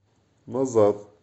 назад